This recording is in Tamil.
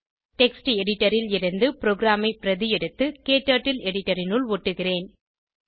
டெக்ஸ்ட் எடிட்டர் ல் இருந்து ப்ரோகிராமை பிரதி எடுத்து க்டர்ட்டில் எடிட்டர் இனுள் ஒட்டுகிறேன்